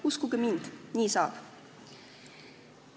Uskuge mind, nii saab!